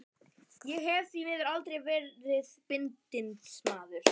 Ég hef því miður aldrei verið bindindismaður.